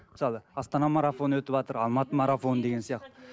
мысалы астана марафоны өтіватыр алматы марафоны деген сияқты